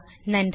நன்றி